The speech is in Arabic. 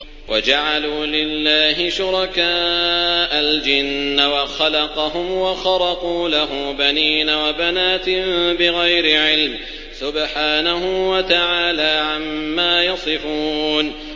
وَجَعَلُوا لِلَّهِ شُرَكَاءَ الْجِنَّ وَخَلَقَهُمْ ۖ وَخَرَقُوا لَهُ بَنِينَ وَبَنَاتٍ بِغَيْرِ عِلْمٍ ۚ سُبْحَانَهُ وَتَعَالَىٰ عَمَّا يَصِفُونَ